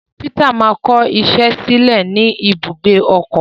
Peter ma kọ iṣẹ sílẹ ní ibi ibùgbé ọkọ.